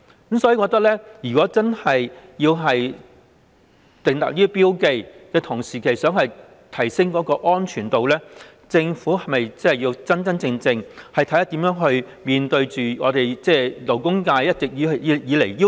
我認為政府與其希望透過訂立標記提升安全程度，不如真真正正地考慮如何面對和回應勞工界一直以來最核心的要求。